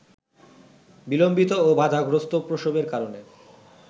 বিলম্বিত ও বাধাগ্রস্থ প্রসবের কারণে